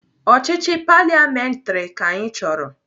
Ọchịchị paliamentrị ka anyị chọrọ.